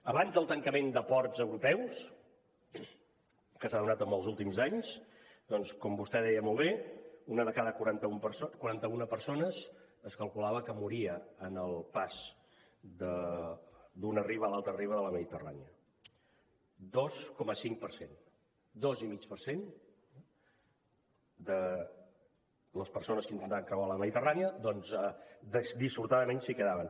abans del tancament de ports europeus que s’ha donat en els últims anys com vostè deia molt bé una de cada quaranta una persones es calculava que moria en el pas d’una riba a l’altra riba de la mediterrània dos coma cinc per cent dos i mig per cent de les persones que intentaven creuar la mediterrània doncs dissortadament s’hi quedaven